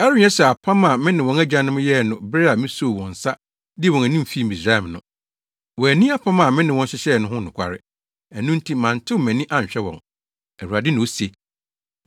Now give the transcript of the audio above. Ɛrenyɛ sɛ apam a me ne wɔn agyanom yɛɛ no bere a misoo wɔn nsa dii wɔn anim fii Misraim no. Wɔanni apam a me ne wɔn hyehyɛɛ no ho nokware, ɛno nti mantew mʼani anhwɛ wɔn, Awurade na ose.